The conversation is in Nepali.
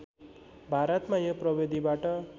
भारतमा यो प्रविधिबाट